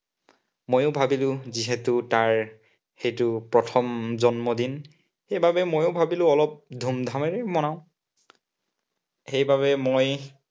মইয়ো ভাবিলো যিহেতু তাইৰ এইটো প্ৰথম জন্মদিন, সেইবাবে মইও ভাবিলো অলপ ধুমধামেৰে মনাম। সেইবাবে মই